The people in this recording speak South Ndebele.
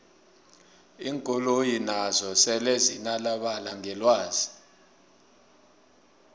iinkoloyi nazo sele zinanabala ngelwazi